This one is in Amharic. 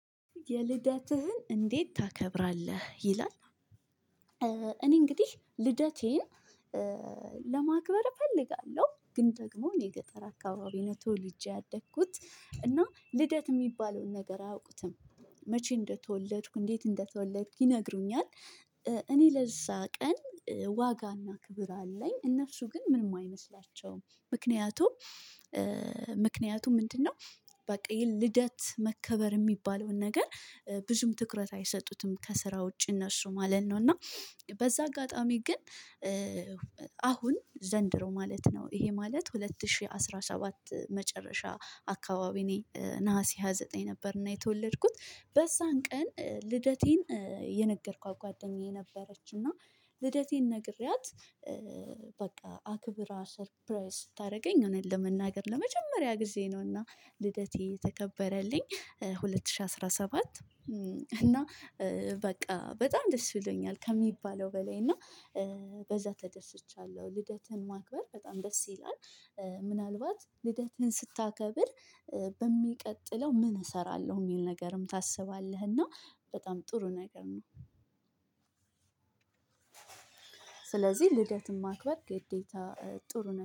የልደትህን እንዴት ታከብራለህ ይላል? እኔ እንግዲህ ልደቴን ለማክበር እፈልጋለሁ ግን ደግሞ እኔ ገጠር አካባቢ ነው ተወልጄ ያደግኩት እና ልደት የሚባለውን ነገር አያውቁትም። መቼ እንደተወለድኩ እንዴት እንደተወለድኩ ይነግሩኛል። እኔ ለዛ ቀን ዋጋና ክብር አለኝ። እነሱ ግን ምንም አይመስላቸውም ምክንያቱም ምክንያቱም ምንድነው? በቃ ይሄን ልደት መከበር የሚባለውን ነገር ብዙም ትኩረት አይሰጡትም ከስራ ውጪ እነሱ ማለት ነው። እና በዛ አጋጣሚ ግን። አሁን ዘንድሮ ማለት ነው ይሄ ማለት ሁለት ሺህ አስራ ሰባት መጨረሻ አካባቢ እኔ ነሀሴ ሃያ ዘጠኝ ነበርና የተወለድኩት በዛን ቀን ልደቴን የነገርኳት ጓደኛዬ ነበረች። እና ልደቴን ነግሬያት። በቃ አክብራ ሰርፕራይዝ ስታደርገኝ እኔን ለመናገር ለመጀመሪያ ጊዜ ነውና ልደቴ የተከበረልኝ ሁለት ሺህ አስራ ሰባት። እና በቃ በጣም ደስ ብሎኛል ከሚባለው በላይ እና በዛ ተደስቻለሁ። ልደትህን ማክበር በጣም ደስ ይላል። ምናልባት ልደትህን ስታከብር በሚቀጥለው ምን እሰራለሁ የሚል ነገርም ታስባለህ። እና በጣም ጥሩ ነገር ነው። ስለዚህ ልደትን ማክበር ግዴታ ጥሩ ነው